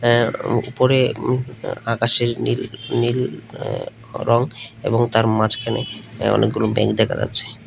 উপরে আকাশের নীল নীল রঙ এবং তার মাঝখানে অনেকগুলো মেঘ দেখা যাচ্ছে।